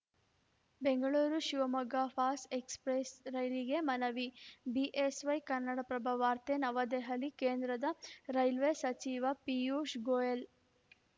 ಬೆಂಗಳೂರುಶಿವಮೊಗ್ಗ ಫಾಸ್ express ರೈಲಿಗೆ ಮನವಿ BSY Kannadaprabha ವಾರ್ತೆ ನವದೆಹಲಿ ಕೇಂದ್ರದ ರೈಲ್ವೇ ಸಚಿವ ಪಿಯೂಷ್‌ ಗೊಯೆಲ